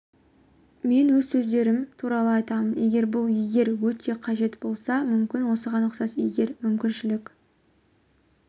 мен өз сезімдерім туралы айтамын егер бұл егер өте қажет болса мүмкін осыған ұқсас егер мүмкіншілік